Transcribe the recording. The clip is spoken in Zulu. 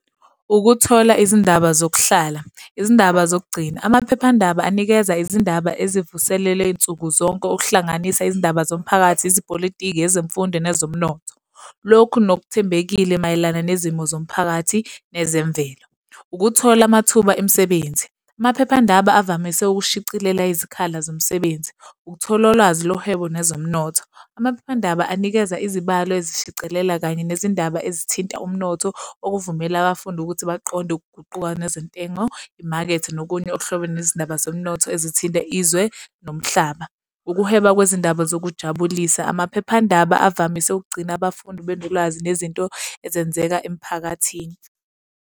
Ukuthola izindaba zokuhlala. Izindaba zokugcina. Amaphephandaba anikeza izindaba ezivuselela insuku zonke, ukuhlanganisa izindaba zomphakathi, ezepolitiki, ezemfundo nezomnotho. Lokhu nokuthembekile mayelana nezimo zomphakathi nezemvelo. Ukuthola amathuba emisebenzi, amaphephandaba avamise ukushicilela izikhala zomsebenzi, ukuthola ulwazi lohwebo nezomnotho. Amaphephandaba anikeza izibalo ezishicilela kanye nezindaba ezithinta umnotho, okuvumela abafundi ukuthi baqonde ukuguquka nezentengo, imakethe nokunye okuhlobene nezindaba zomnotho ezithinta izwe nomhlaba. Ukuhweba kwezindaba zokujabulisa. Amaphephandaba avamise ukugcina abafundi, benolwazi nezinto ezenzeka emphakathini.